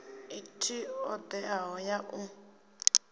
i t odeaho ya u